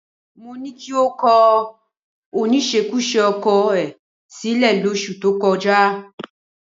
Mo ní kí o kọ oníṣekúṣe ọkọ ẹ sílẹ̀ lóṣù tó kọjá